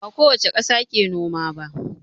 Ba kowace ƙasa ke noma ba.